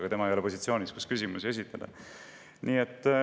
Aga tema ei ole positsioonis, kus ta saaks küsimusi esitada.